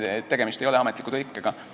Tegemist ei ole ametliku tõlkega.